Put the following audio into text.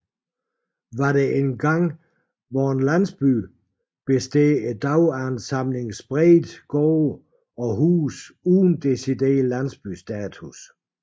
Hvad der engang var en landsby består i dag af en samling spredte gårde og huse uden decideret landsbystatus